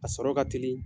A sɔrɔ ka teli